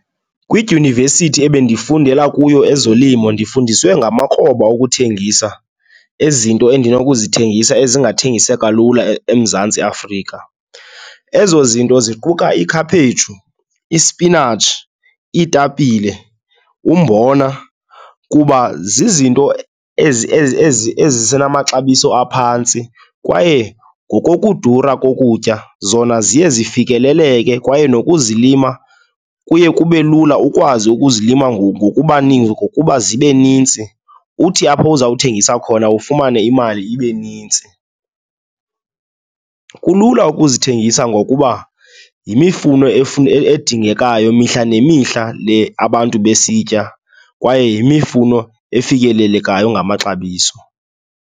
Kwidyunivesithi ebendifundela kuyo ezolimo ndifundiswe ngamakroba okuthengisa izinto endinokuzithengisa ezingathengiseka lula eMzantsi Afrika. Ezo zinto ziquka ikhaphetshu, ispinatshi, iitapile umbona kuba zizinto ezi ezisenamaxabiso aphantsi kwaye ngokokudura kokutya zona ziye zifikeleleke kwaye nokuzilima kuye kube lula ukwazi ukuzilima ngokuba zibe nintsi, uthi apho uzawuthengisa khona ufumane imali ibe nintsi. Kulula ukuzithengisa ngokuba yimifuno edingekayo mihla nemihla le abantu besitya kwaye yimifuno efikelelekayo ngamaxabiso.